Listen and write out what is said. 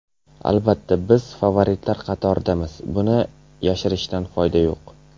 Albatta, biz favoritlar qatoridamiz, buni yashirishdan foyda yo‘q.